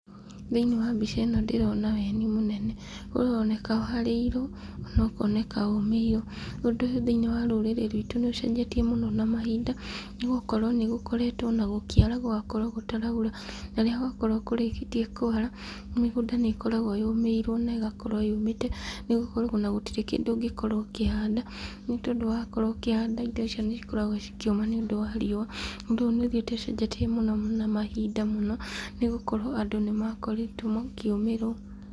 Thĩiniĩ wa mbica ĩno ndĩrona weni mũnene , ũroneka warĩirwo ona ũkoneka ũmĩirwo , ũndũ ũyũ thĩiniĩ wa rũrĩrĩ rwitũ nĩ ũcenjetie mũno na mahinda ,nĩ gũkorwo ona nĩgũkoretwo ona gũkĩara , gũgakorwo gũtaraura, na rĩrĩa gwakorwo kũrĩkĩtie kwara, mĩgũnda nĩ ĩkoragwo yũmĩirwo na ĩgakorwo yũmĩte, nĩgũkorwo ona gũtirĩ kĩndũ gĩkoragwo kĩhande, nĩ tondũ wakorwo ũkĩhanda, indo icio nĩ cikoragwo cikĩũma nĩ undũ wa riua, ũndũ ũyũ nĩ ũthiĩte ũcenjetie mũno na mahinda mũno, nĩgũkorwo andũ nĩ makoretwo makĩũmĩrwo.